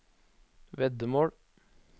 veddemål